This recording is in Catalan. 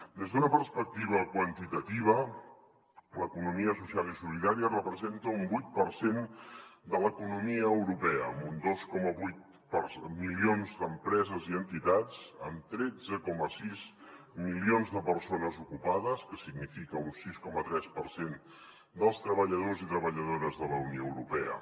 des d’una perspectiva quantitativa l’economia social i solidària representa un vuit per cent de l’economia europea amb dos coma vuit milions d’empreses i entitats amb tretze coma sis milions de persones ocupades que significa un sis coma tres per cent dels treballadors i treballadores de la unió europea